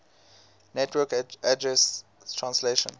network address translation